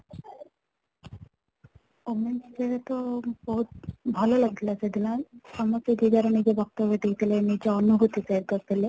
women's day ରେ ତ ବହୁତ ଭଲ ଲାଗିଲା ସେଦିନ ସମସ୍ତେ ଯେ ଯାହାର ନିଜର ବକ୍ତବ୍ୟ ଦେଇ ଥିଲେ ନିଜ ଅନୁଭୂତି share କରି ଥିଲେ